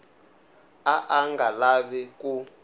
a a nga lavi ku